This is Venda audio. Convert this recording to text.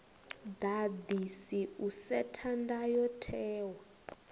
ḓaḓisi u setha ndayo tewa